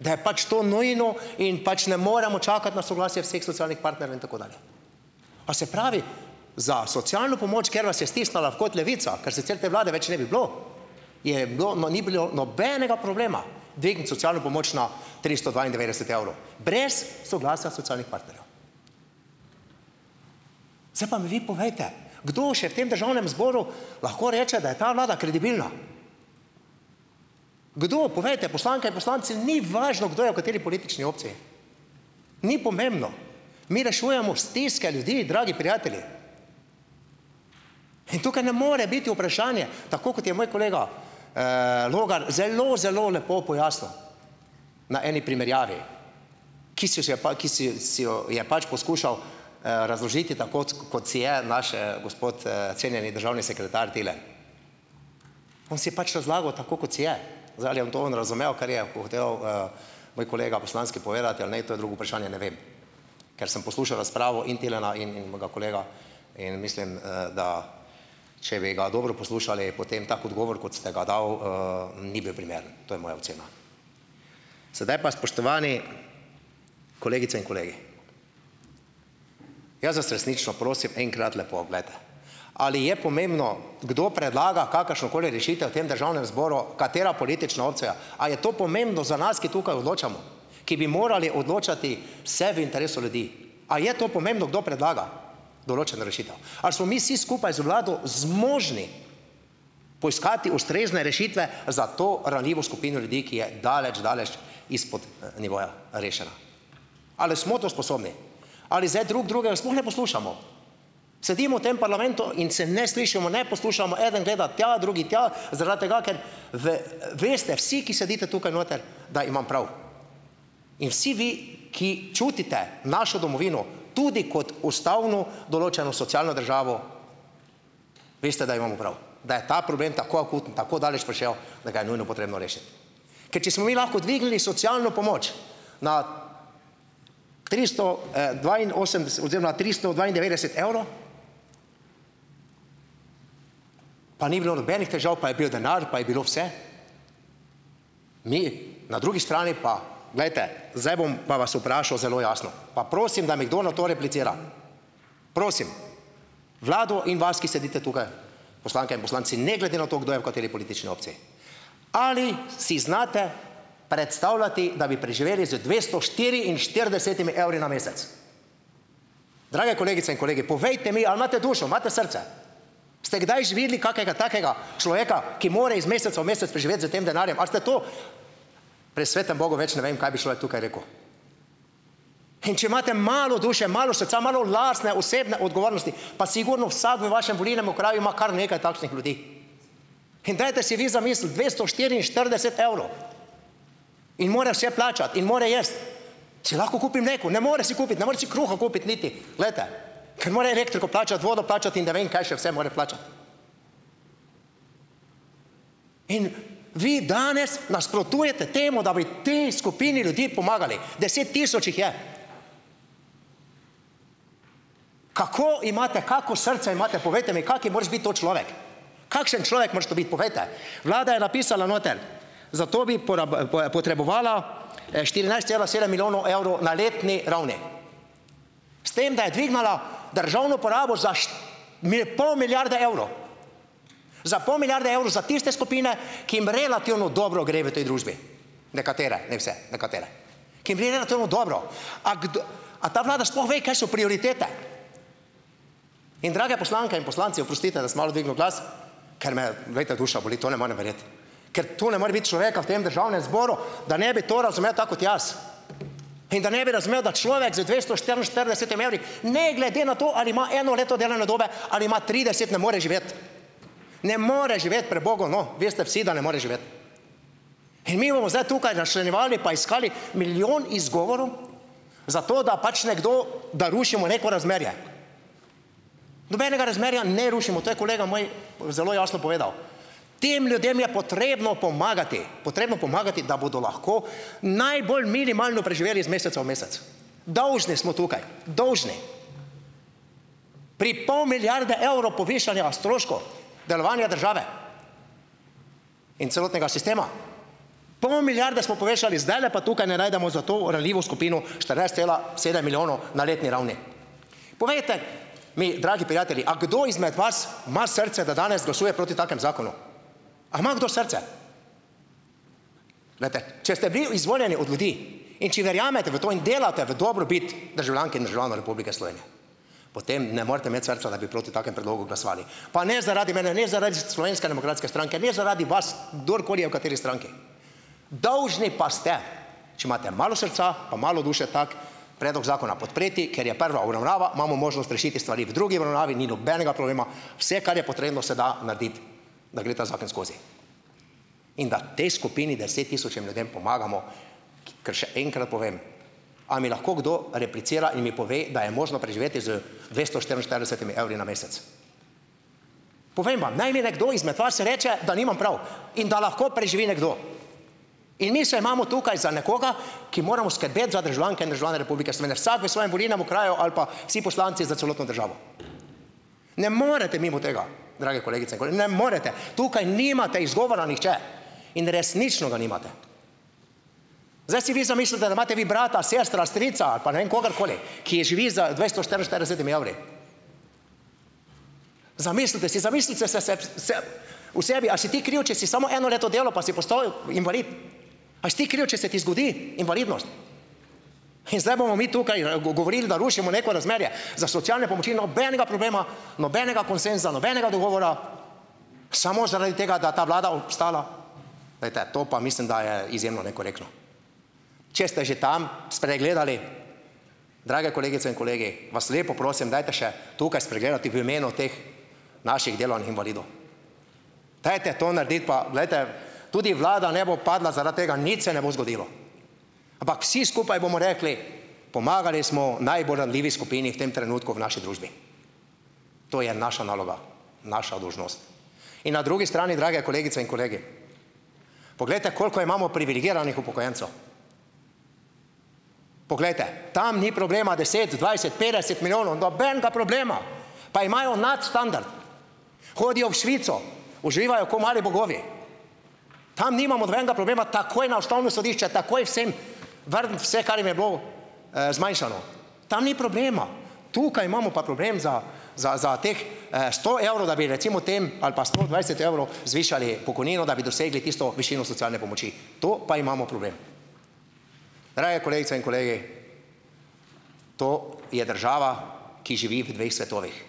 Da je pač to nujno in pač ne moremo čakati na soglasje vseh socialnih partnerjev in tako dalje. A se pravi, za socialno pomoč, ker vas je stisnila v kot Levica, ker sicer te vlade več ne bi bilo, je bilo, no, ni bilo nobenega problema dvigniti socialno pomoč na tristo dvaindevetdeset evrov, brez soglasja socialnih partnerjev. Zdaj pa mi vi povejte, kdo še v tem Državnem zboru lahko reče, da je ta vlada kredibilna! Kdo, povejte! Poslanke in poslanci, ni važno, kdo je v kateri politični opciji, ni pomembno. Mi rešujemo stiske ljudi, dragi prijatelji! In tukaj ne more biti vprašanje. Tako kot je moj kolega Logar zelo, zelo lepo pojasnil na eni primerjavi, ki si si jo pa ki si si jo je pač poskušal razložiti tako, kot si je, naš gospod cenjeni državni sekretar Tilen. On si je pač razlagal tako, kot si je. Zdaj, ali je to on razumel, kar je moj kolega poslanski povedati, ali ne, to je drugo vprašanje, ne vem, ker sem poslušal razpravo in Tilena in in mojega kolega, in mislim, da če bi ga dobro poslušali, potem tak odgovor, kot ste ga dali, ni bil primeren; to je moja ocena. Sedaj pa, spoštovani kolegice in kolegi, jaz vas resnično prosim enkrat, lepo glejte, ali je pomembno, kdo predlaga kakršnokoli rešitev v tem Državnem zboru, katera politična opcija, a je to pomembno za nas, ki tukaj odločamo, ki bi morali odločati vse v interesu ljudi. A je to pomembno, kdo predlaga določeno rešitev? Ali smo mi vsi skupaj z vlado zmožni poiskati ustrezne rešitve za to ranljivo skupino ljudi, ki je daleč daleč izpod nivoja rešena? Ali smo to sposobni? Ali zdaj drug drugega sploh ne poslušamo, sedimo v tem parlamentu in se ne slišimo, ne poslušamo, eden gleda tja, drugi tja, zaradi tega, ker veste vsi, ki sedite tukaj noter, da imam prav. In vsi vi, ki čutite našo domovino tudi kot ustavno določeno socialno državo, veste, da imamo prav, da je ta problem tako akuten, tako daleč prišel, da ga je nujno potrebno rešiti. Ker če smo mi lahko dvignili socialno pomoč na tristo dvainosemdeset oziroma tristo dvaindevetdeset evrov, pa ni bilo nobenih težav, pa je bil denar, pa je bilo vse, mi na drugi strani pa ... Glejte, zdaj bom pa vas vprašal zelo jasno, pa prosim, da mi kdo na to replicira, prosim vlado in vas, ki sedite tukaj, poslanke in poslanci, ne glede na to, kdo je v kateri politični opciji: Ali si znate predstavljati, da bi preživeli z dvesto štiriinštiridesetimi evri na mesec? Drage kolegice in kolegi, povejte mi, ali imate dušo, ali imate srce? Ste kdaj že videli kakega takega človeka, ki more iz meseca v mesec preživeti s tem denarjem? Ali ste tu ... pri svetem bogu več ne vem, kaj bi človek tukaj rekel. In če imate malo duše, malo srca, malo lastne, osebne odgovornosti, pa sigurno vsak v vašem volilnem okraju ima kar nekaj takšnih ljudi! In dajte si vi zamisliti, dvesto štiriinštirideset evrov! In mora vse plačati in mora jesti! Si lahko kupi mleko? Ne more si kupiti! Ne more si kruha kupiti, niti, glejte, ker mora elektriko plačati, vodo plačati in ne vem kaj še vse mora plačati. In vi danes nasprotujete temu, da bi tej skupini ljudi pomagali, deset tisoč jih je. Kako imate, kako srce imate, povejte mi, kak moraš biti to človek! Kakšen človek moraš to biti, povejte! Vlada je napisala noter, za to bi potrebovala štirinajst cela sedem milijonov evrov na letni ravni. S tem, da je dvignila državno porabo za pol milijarde evrov! Za pol milijarde evrov za tiste skupine, ki jim relativno dobro gre v tej družbi - nekatere, ne vse, nekatere, ki jim gre relativno dobro. A a ta vlada sploh ve, kaj so prioritete? In drage poslanke in poslanci, oprostite, da sem malo dvignil glas, ker me, glejte, duša boli, to ne morem verjeti. Ker to ne more biti človeka v tem Državnem zboru, da ne bi to razumel tako kot jaz. In da ne bi razumel, da človek z dvesto štiriinštiridesetimi evri, ne glede na to, ali ima eno leto delovne dobe ali ima trideset, ne more živeti, ne more živeti pri bogu, no, veste vsi, da ne more živeti. In mi bomo zdaj tukaj razčlenjevali pa iskali milijon izgovorov zato, da pač nekdo, da rušimo neko razmerje. Nobenega razmerja ne rušimo, to je kolega moj zelo jasno povedal. Tem ljudem je potrebno pomagati, potrebno pomagati, da bodo lahko najbolj minimalno preživeli iz meseca v mesec. Dolžni smo tukaj, dolžni. Pri pol milijarde evrov povišanja stroškov delovanja države in celotnega sistema, pol milijarde smo povečali, zdajle pa tukaj ne najdemo za to ranljivo skupino štirinajst cela sedem milijonov na letni ravni. Povejte mi, dragi prijatelji, a kdo izmed vas ima srce, da danes glasuje proti takemu zakonu? A ima kdo srce? Glejte, če ste bili izvoljeni od ljudi, in če verjamete v to in delate v dobrobit državljank in državljanov Republike Slovenije, potem ne morete imeti srca, da bi proti takem predlogu glasovali, pa ne zaradi mene, ne zaradi Slovenske demokratske stranke, ne zaradi vas, kdorkoli je v kateri stranki, dolžni pa ste, če imate malo srca pa malo duše, tak predlog zakona podpreti, ker je prva obravnava, imamo možnost rešiti stvari, v drugi obravnavi ni nobenega problema, vse, kar je potrebno, se da narediti, da gre ta zakon skozi, in da tej skupini deset tisočim ljudem pomagamo, ker še enkrat povem, a mi lahko kdo replicira in mi pove, da je možno preživeti z dvesto štiriinštiridesetimi evri na mesec. Povem vam, naj mi nekdo izmed vas reče, da nimam prav, in da lahko preživi nekdo. In mi se imamo tukaj za nekoga, ki moramo skrbeti za državljanke in državljane Republike Slovenije, vsak v svojem volilnem okraju ali pa vsi poslanci za celotno državo. Ne morete mimo tega, drage kolegice in Ne morete. Tukaj nimate izgovora, nihče. In resnično ga nimate. Zdaj si vi zamislite, da imate vi brata, sestro, strica ali pa ne vem, kogarkoli, ki živi z dvesto štiriinštiridesetimi evri. Zamislite si, zamislite se se v sebi, a si ti kriv, če si samo eno leto delal, pa si postal invalid. A si ti kriv, če se ti zgodi invalidnost? In zdaj bomo mi tukaj govorili, da rušimo neko razmerje, za socialne pomoči nobenega problema, nobenega konsenza, nobenega dogovora, samo zaradi tega, da ta vlada obstala, glejte, to pa mislim, da je izjemno nekorektno. Če ste že tam spregledali, drage kolegice in kolegi, vas lepo prosim, dajte še tukaj spregledati v imenu teh naših delovnih invalidov. Dajte to narediti, pa glejte, tudi vlada ne bo padla zaradi tega, nič se ne bo zgodilo, ampak vsi skupaj bomo rekli, pomagali smo najbolj ranljivi skupini v tem trenutku v naši družbi. To je naša naloga, naša dolžnost. In na drugi strani, drage kolegice in kolegi, poglejte, koliko imamo privilegiranih upokojencev. Poglejte, tam ni problema, deset, dvajset, petdeset milijonov, nobenega problema, pa imajo nadstandard, hodijo v Švico, uživajo ko mali bogovi, tam nimamo nobenega problema, takoj na Ustavno sodišče, takoj vsem vrniti vse, kar jim je bilo zmanjšano. Tam ni problema. Tukaj imamo pa problem za za za teh sto evrov, da bi recimo tem ali pa sto dvajset evrov zvišali pokojnino, da bi dosegli tisto višino socialne pomoči. Tu pa imamo problem. Drage kolegice in kolegi, to je država, ki živi v dveh svetovih.